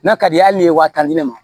N'a ka di ye hali n'i ye wa tan di ne ma